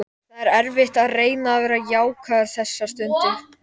Það er erfitt að reyna að vera jákvæður þessa stundina.